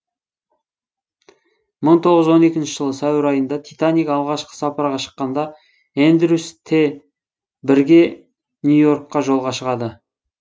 мың тоғыз жүз он екінші жылы сәуір айында титаник алғашқы сапарға шыққанда эндрюс те бірге нью йоркке жолға шығады